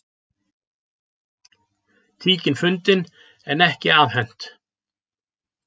Tíkin fundin en ekki afhent